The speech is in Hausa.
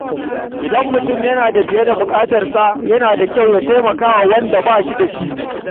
Idan mutum yana da fiye da bukatarsa, yana da kyau ya raba da wanda bai da shi.